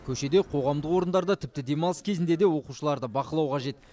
көшеде қоғамдық орындарда тіпті демалыс кезінде де оқушыларды бақылау қажет